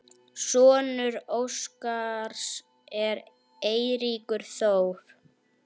Sonur Óskars er Eiríkur Þór.